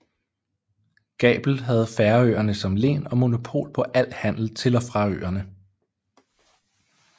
Gabel havde Færøerne som len og monopol på al handel til og fra øerne